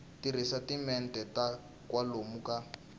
tirhisa timinete ta kwalomu ka